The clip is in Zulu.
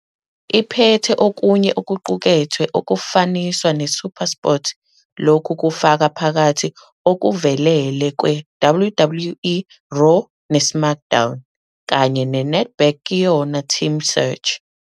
Iphethe okunye okuqukethwe okufaniswa neSuperSport. Lokhu kufaka phakathi okuvelele kweWWE Raw neSmackDown, kanye neNedbank Ke Yona Team Search.